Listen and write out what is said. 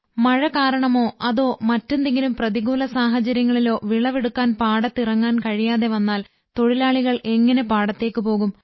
മഴ കാരണമോ അതോ മറ്റെന്തെങ്കിലും പ്രതികൂല സാഹചര്യങ്ങളിലോ വിളവെടുക്കാൻ പാടത്ത് ഇറങ്ങാൻ കഴിയാതെ വന്നാൽ തൊഴിലാളികൾ എങ്ങനെ പാടത്തേക്ക് പോകും